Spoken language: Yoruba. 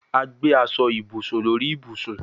A gbe aso ibusun lori ibusun